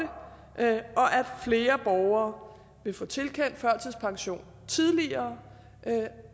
at flere borgere vil få tilkendt førtidspension tidligere